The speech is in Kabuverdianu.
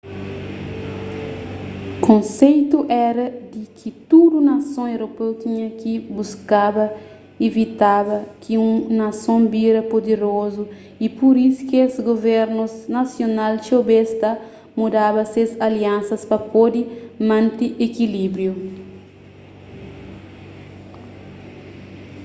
konseitu éra di ki tudu nason europeu tinha ki buskaba ivitaba ki un nason bira puderozu y pur isu kes guvernus nasional txeu bês ta mudaba ses aliansas pa pode mante ikilíbriu